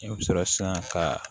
I bɛ sɔrɔ sisan ka